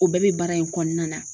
O bɛɛ be baara in kɔɔna na.